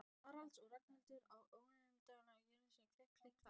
Haralds og Ragnhildar á óendanlegum garðstígnum, klikk-klakk, klikk-klakk.